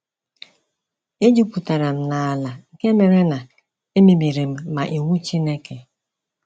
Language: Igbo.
E jupụtara m n'ala nke mere na emebiri m ma iwu Chineke.